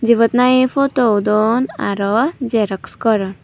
jobot nahi photo udon aro xerox goron.